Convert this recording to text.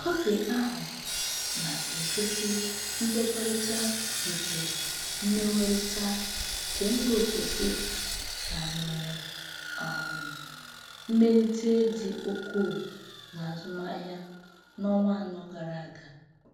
Kọfị ahụ na-egosi nkwekọrịta nke Mgbenwerita Kembaofesi ga nwere um mmelite dị ukwu n'azụmahịa n'ọnwa anọ gara aga.